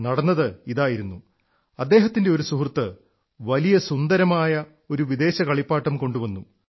നടന്നതിതായിരുന്നു അദ്ദേഹത്തിന്റെ ഒരു സുഹൃത്ത് വലിയ സുന്ദരമായ ഒരു വിദേശ കളിപ്പാട്ടം കൊണ്ടുവന്നു